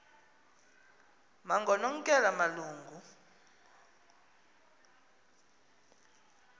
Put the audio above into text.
nangoknonkela malu ngu